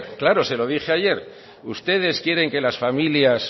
claro se lo dije ayer ustedes quieren que las familias